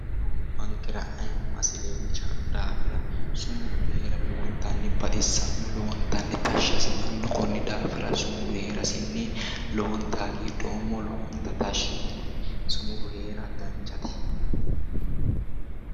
sumuda:- gabankera aayimmase xawisanno daafira sumudu heera lowontanni baxisanno lowontanni tashshi asitanno konni daafira sumudu heerasinni lowontayi hagidhoommo lowontayi tashshi yiinoe sumudu heera danchate